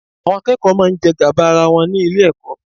Àwọn akẹ́kọ̀ọ́ máa ń jẹ gàba ara wọn ní Ilé-ẹ̀kọ́